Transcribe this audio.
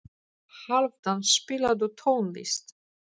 Hálfdan, spilaðu tónlist.